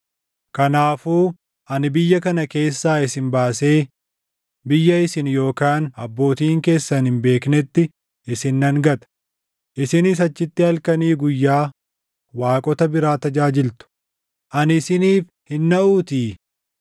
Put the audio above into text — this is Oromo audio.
Kanaafuu ani biyya kana keessaa isin baasee, biyya isin yookaan abbootiin keessan hin beeknetti isin nan gata; isinis achitti halkanii guyyaa waaqota biraa tajaajiltu; ani isiniif hin naʼuutii.’